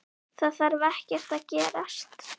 Það þarf ekkert að gerast.